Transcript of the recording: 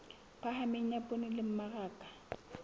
phahameng ya poone le mmaraka